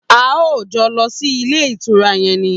A óò jo̩ lo̩ sí ilé ìtura ye̩n ni!